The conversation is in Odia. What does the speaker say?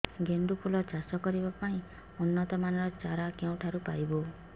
ଗେଣ୍ଡୁ ଫୁଲ ଚାଷ କରିବା ପାଇଁ ଉନ୍ନତ ମାନର ଚାରା କେଉଁଠାରୁ ପାଇବୁ